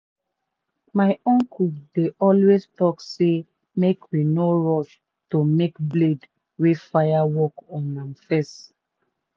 my uncle dey always talk say make we no rush to make blade wey fire work on am first.